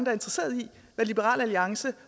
er interesseret i hvad liberal alliance